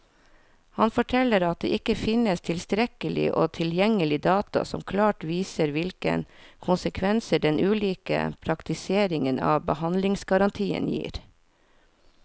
Han forteller at det ikke finnes tilstrekkelig og tilgjengelig data som klart viser hvilke konsekvenser den ulike praktiseringen av behandlingsgarantien gir.